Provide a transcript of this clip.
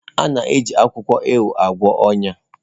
A na-eji akwụkwọ ewe agwọ ọnya.